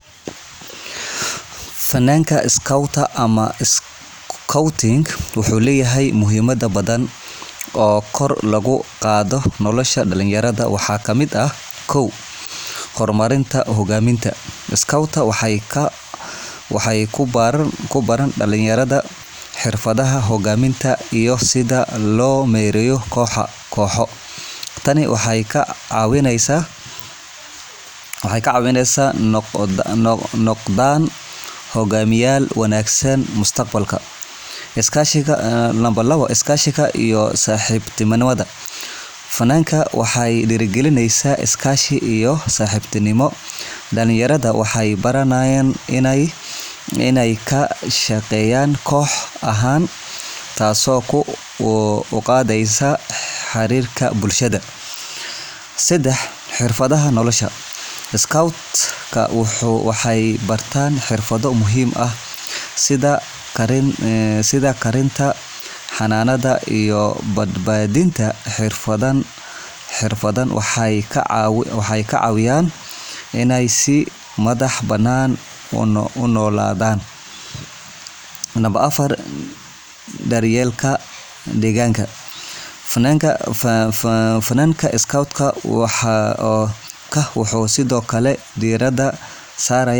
Funaanka scouts ka, ama scouting wuxuu leeyahay muhiimad badan oo kor loogu qaadayo nolosha dhallinyarada. Waxaa ka mid ah: 1.Horumarinta Hogaaminta Scouts-ka waxay ku baraan dhallinyarada xirfadaha hogaaminta iyo sida loo maareeyo kooxo. Tani waxay ka caawineysaa inay noqdaan hogaamiyayaal wanaagsan mustaqbalka. 2.Iskaashiga iyo Saaxiibtinimada Funaanka wuxuu dhiirrigeliyaa iskaashi iyo saaxiibtinimo. Dhallinyarada waxay baranayaan inay ka shaqeeyaan koox ahaan, taasoo kor u qaadaysa xiriirka bulshada. 3. Xirfadaha Nolosha Scouts-ka waxay bartaan xirfado muhiim ah sida karinta, xanaanada, iyo badbaadinta. Xirfadahan waxay ka caawiyaan inay si madax-bannaan u noolaadaan. 4. Daryeelka Deegaanka Funaanka scouts-ka wuxuu sidoo kale diiradda saarayaa ilaalinta deegaanka. Dhallinyarada waxay baranayaan qiimaha daryeelka deegaanka iyo sida loo ilaaliyo.